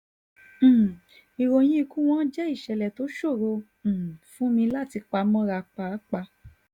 um ìròyìn ikú wọn jẹ́ ìṣẹ̀lẹ̀ tó ṣòro um fún mi láti pa mọ́ra páàpáà